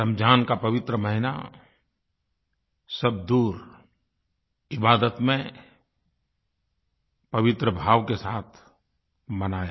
रमज़ान का पवित्र महीना सब दूर इबादत में पवित्र भाव के साथ मनाया